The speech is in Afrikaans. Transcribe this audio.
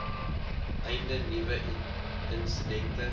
einde nuwe insidente